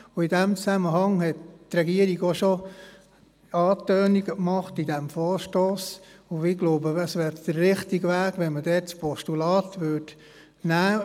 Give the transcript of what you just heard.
In diesem Zusammenhang hat die Regierung bereits Andeutungen gemacht, und ich denke, es wäre der richtige Weg, ein Postulat zu überweisen.